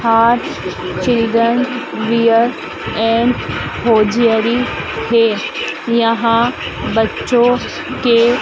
Harsh children wear and hosiery wear यहां बच्चों के --